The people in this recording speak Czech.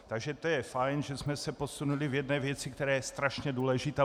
Takže to je fajn, že jsme se posunuli v jedné věci, která je strašně důležitá.